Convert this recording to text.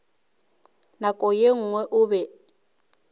nako ye nngwe o be